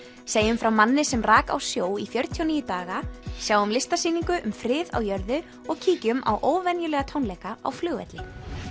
segjum frá manni sem rak á sjó í fjörutíu og níu daga sjáum listasýningu um frið á jörðu og kíkjum á óvenjulega tónleika á flugvelli